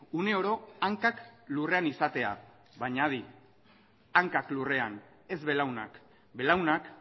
une oro hankak lurrean izatea baina adi hankak lurrean ez belaunak belaunak